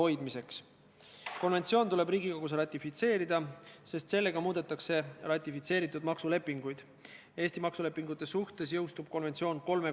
Nende sisu on, et taas kord tuleb viieks aastaks erandina pikendada Euroopa Ühenduse määrusega kehtestatud raudtee-ettevõtjate kohustuste käikulaskmist.